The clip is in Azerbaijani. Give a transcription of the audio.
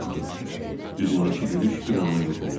Üzündəki gülüş bir anda yox oldu.